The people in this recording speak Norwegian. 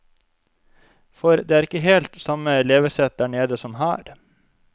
For det er ikke helt samme levesett der nede som her.